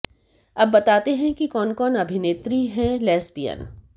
अब बताते हैं कि कौन कौन अभिनेत्री है लेस्बियन